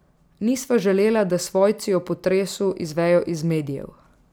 Nisva želela, da svojci o potresu izvejo iz medijev.